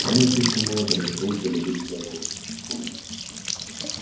но она слишком молода для того чтобы быть вдовой